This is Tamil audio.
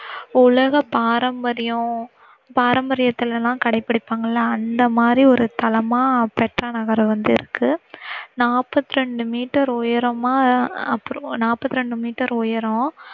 உலக பாரம்பரியம் பாரம்பரியத்துல எல்லாம் கடை பிடிப்பாங்க இல்ல அந்த மாதிரி ஒரு தளமா பெட்ரா நகர் வந்து இருக்கு. நாற்பத்தி இரண்டு மீட்டர் உயரமா அப்புறம் நாற்பத்தி இரண்டு மீட்டர் உயரம்